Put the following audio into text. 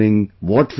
what will happen